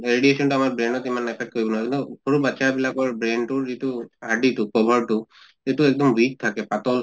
radiation টো আমাৰ brain তিমান affect কিন্তু সৰু বাচ্ছা বিলাকৰ brain টো হাদ্দি টো cover টো এইটো এক্দম weak থাকে পাতল